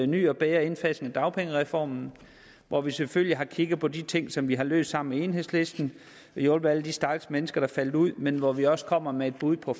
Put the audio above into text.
ny og bedre indsats med dagpengereformen hvor vi selvfølgelig har kigget på de ting som vi har løst sammen med enhedslisten og hjulpet alle de stakkels mennesker der faldt ud men hvor vi også kommer med et bud på